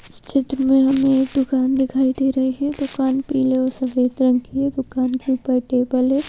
इस चित्र में हमें एक दुकान दिखाई दे रही है दुकान पीले और सफेद कलर की है दुकान के ऊपर टेबल है।